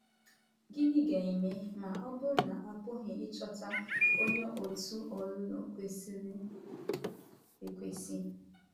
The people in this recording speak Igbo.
Gịnị ga-eme ma ọ bụrụ na a pụghị ịchọta onye òtù ọlụlụ kwesịrị ekwesị?